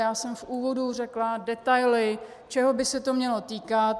Já jsem v úvodu řekla detaily, čeho by se to mělo týkat.